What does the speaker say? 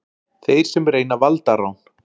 Þeir sem reyna valdarán